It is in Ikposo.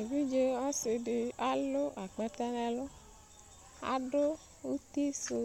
evidze ɔse di alo akpɛtɛ n'ɛlu ado uti sò